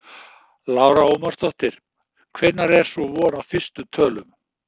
Lára Ómarsdóttir: Hvenær er svo von á fyrstu tölum?